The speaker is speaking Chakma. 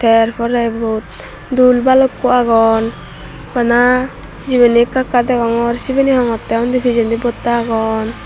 yer porey ibot dool balukko agon bana jibeni ekka ekka degongor sibeni hongottey undi pijendi botta agon.